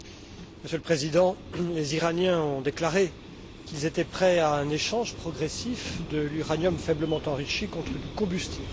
Monsieur le Président, les Iraniens ont déclaré qu'ils étaient prêts à un échange progressif de l'uranium faiblement enrichi contre du combustible.